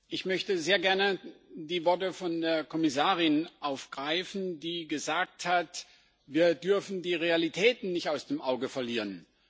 Ich möchte sehr gerne die Worte der Kommissarin aufgreifen, die gesagt hat, wir dürfen die Realitäten nicht aus den Augen verlieren.